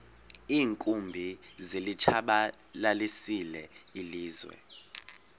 iinkumbi zilitshabalalisile ilizwe